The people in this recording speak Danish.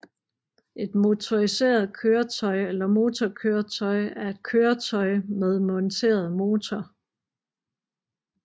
Et motoriseret køretøj eller motorkøretøj er et køretøj med monteret motor